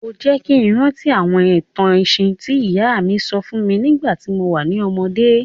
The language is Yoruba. O jẹ́ ki n rántí àwọn ìtàn ẹ̀sìn ti ìyá mi sọ fún mi nígbàtí mo wa ni ọmọdé.